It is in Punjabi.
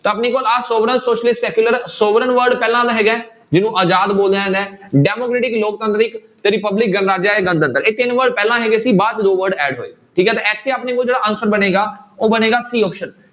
ਤਾਂ ਆਪਣੇ ਕੋਲ ਆਹ sovereign, socialist, secular, sovereign word ਪਹਿਲਾਂ ਵਾਲਾ ਹੈਗਾ ਹੈ ਜਿਹਨੂੰ ਆਜ਼ਾਦ ਬੋਲਿਆ ਜਾਂਦਾ ਹੈ democratic ਲੋਕਤੰਤਰਿਕ ਤੇ republic ਇਹ ਤਿੰਨ word ਪਹਿਲਾਂ ਹੈਗੇ ਸੀ ਬਾਅਦ 'ਚ ਦੋ word add ਹੋਏ, ਠੀਕ ਹੈ ਤੇ ਇੱਥੇ ਆਪਣੇ ਕੋਲ ਜਿਹੜਾ answer ਬਣੇਗਾ ਉਹ ਬਣੇਗਾ c option